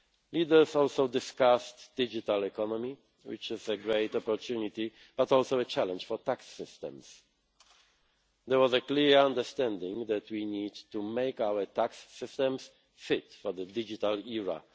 Leaders also discussed the digital economy, which is a great opportunity but also a challenge for tax systems. There was a clear understanding that we need to make our tax systems fit for the digital